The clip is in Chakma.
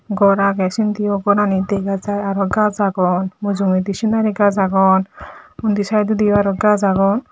gor agey sindiyo gorani dega jar arw gaj agon mujungodi sinari gaj agon undi saedodiyo aro gaj agon.